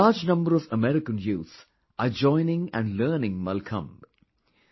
A large number of American Youth are joining and learning Mallakhambh